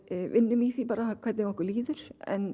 vinnum í því hvernig okkur líður en